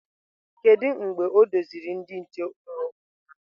Kedu mgbe o doziri ndị nche ụrọ ụnyahụ?